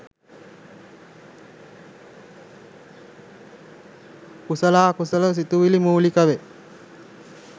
කුසලාකුසල සිතිවිලි මූලික වේ.